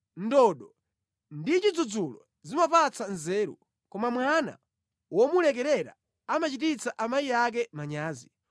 Ndodo ndi chidzudzulo zimapatsa nzeru koma mwana womulekerera amachititsa amayi ake manyazi.